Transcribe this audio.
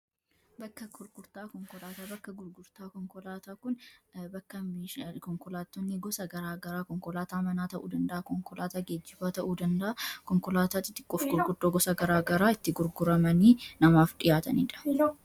bakka gurgurtaa konkolaataa bakka gurgurtaa konkolaataa kun bakka meeshaa konkolaatonni gosa garaa garaa konkolaata manaa ta'uu danda'a konkolaataa geejjibaa ta'uu danda'a konkolaataa xixiqqoof gurguddoo gosa garaa garaa itti gurguramanii namaaf dhihaataniidha.